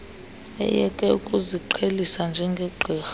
ayeke ukuziqhelisa njengegqirha